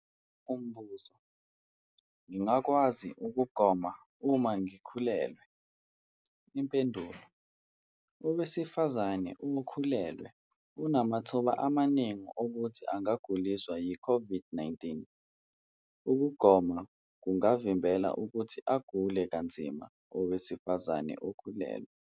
Umbuzo- Ngingakwazi ukugoma uma ngikhulelwe? Impendulo- Owesifazane okhulelwe unamathuba amaningi okuthi angaguliswa yi-COVID-19. Ukugoma kungavimbela ukuthi agule kanzima owesifazane okhulelwe.